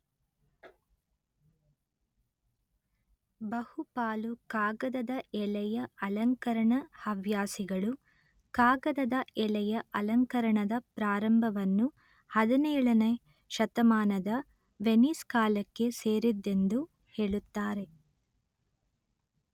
ಬಹುಪಾಲು ಕಾಗದದ ಎಲೆಯ ಅಲಂಕರಣ ಹವ್ಯಾಸಿಗಳು ಕಾಗದದ ಎಲೆಯ ಅಲಂಕರಣದ ಪ್ರಾರಂಭವನ್ನು ಹದಿನೇಳ ನೇ ಶತಮಾನದ ವೆನೀಸ್ ಕಾಲಕ್ಕೆ ಸೇರಿದ್ದೆಂದು ಹೇಳುತ್ತಾರೆ